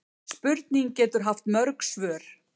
Spurning getur haft mörg svör.